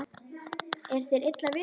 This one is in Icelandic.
Er þér illa við hana?